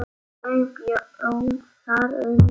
Ég bjó þar um tíma.